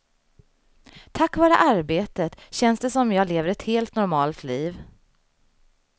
Tack vare arbetet känns det som jag lever ett helt normalt liv.